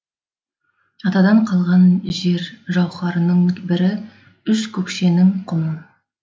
атадан қалған жер жауһарының бірі үш көкшенің құмы